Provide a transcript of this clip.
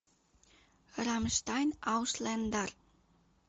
рамштайн ауслендер